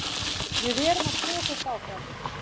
Við erum að tosast áfram